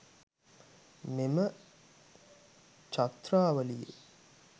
මෙම ඡත්‍රාවලියේ